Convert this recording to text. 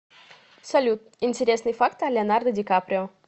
салют интересный факт о леонардо ди каприо